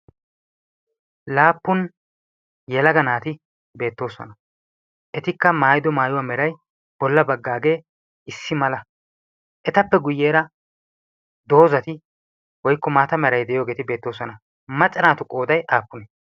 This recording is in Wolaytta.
laapun yelaga naati beetoosona. etikka maayidogee bola bagaagee betees. etappe guye bagaara diya macca naatu qooday aapunee?